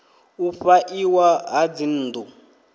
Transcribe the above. u fha iwa ha dzinnḓu